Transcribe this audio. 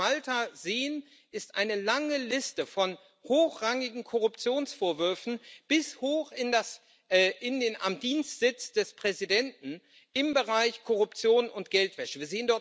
Was wir auf Malta sehen, ist eine lange Liste von hochrangigen Korruptionsvorwürfen, bis hoch an den Dienstsitz des Präsidenten, im Bereich Korruption und Geldwäsche.